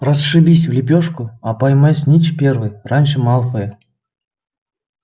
расшибись в лепёшку а поймай снитч первый раньше малфоя